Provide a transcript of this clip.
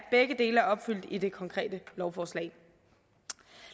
opfyldt i det konkrete lovforslag